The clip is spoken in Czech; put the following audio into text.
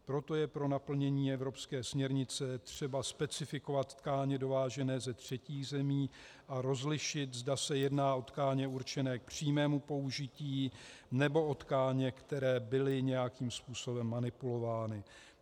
Proto je pro naplnění evropské směrnice třeba specifikovat tkáně dovážené ze třetích zemí a rozlišit, zda se jedná o tkáně určené k přímému použití, nebo o tkáně, které byly nějakým způsobem manipulovány.